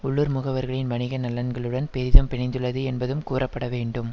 உள்ளூர் முகவர்களின் வணிக நலன்களுடன் பெதும் பிணைந்துள்ளது என்பதும் கூறப்பட வேண்டும்